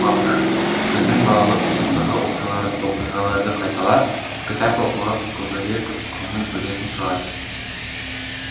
балалар біздің балалық шақтағы оқиғаларды қайталап кітап оқуға көбірек көңіл бөлетін шығар